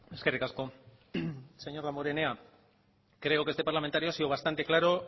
eskerrik asko señor damborenea creo que este parlamentario ha sido bastante claro